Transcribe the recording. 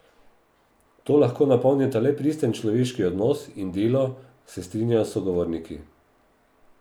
To lahko napolnita le pristen človeški odnos in delo, se strinjajo sogovorniki.